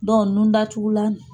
Dɔn nun dagulan